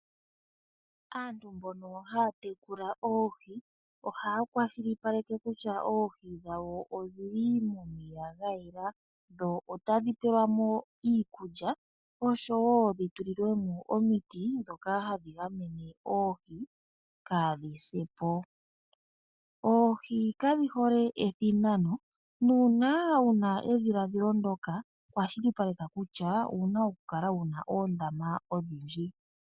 Aantu mbono ohaya tekula oohi , ohaya kwashilipaleke kutya oohi dhawo odhili momeya gayela , dho otadhi pelwa mo iikulya oshowoo dhi tulilwe mo omiti ndhoka hadhi gamene oohi , kaadhi se po. Oohi kadhi hole ethinano nuuna wuna edhiladhilo ndyoka, kwashilipaleka kutya owuna okukala wuna oondama odhindji.